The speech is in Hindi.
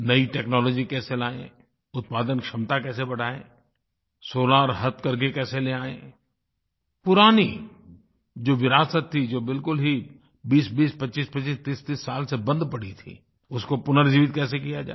नई टेक्नोलॉजी कैसे लाएँ उत्पादन क्षमता कैसे बढ़ाएँ solarहथकरघे कैसे ले आएँ पुरानी जो विरासत थी जो बिलकुल ही 2020 2525 3030 साल से बंद पड़ी थीं उसको पुनर्जीवित कैसे किया जाए